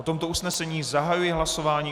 O tomto usnesení zahajuji hlasování.